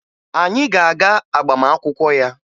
Anyị ga-aga agbamakwụkwọ ya